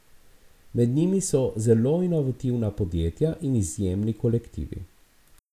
Med njimi so zelo inovativna podjetja in izjemni kolektivi.